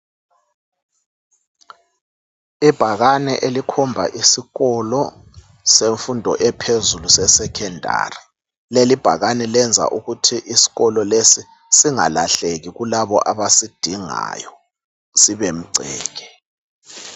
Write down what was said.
Ibhakane elikhomba isikolo semfundo ephezulu eSekhondari. Leli ibhakane lenza ukuthi isikolo lesi singalahleki kulabo abasidingayo, sibemgceke.